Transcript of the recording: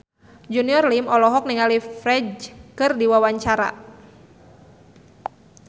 Junior Liem olohok ningali Ferdge keur diwawancara